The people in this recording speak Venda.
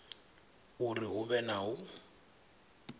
uri hu vhe na u